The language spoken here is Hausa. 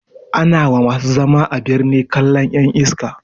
Ana wa masu zama a birni kallan ƴan iska